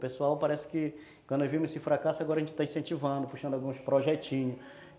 Pessoal, parece que quando nós vimos esse fracasso, agora a gente está incentivando, puxando alguns projetinhos.